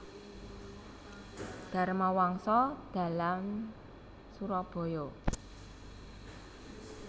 Dharmawangsa Dalam Surabaya